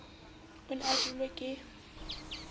o ne a jelwe ke